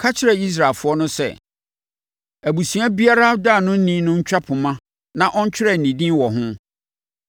“Ka kyerɛ Israelfoɔ no sɛ, abusua biara ɔdaanoni no ntwa poma na ɔntwerɛ ne din wɔ ho.